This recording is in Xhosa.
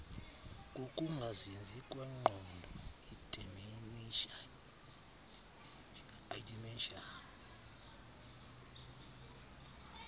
kokungazinzi kwengqondo idementia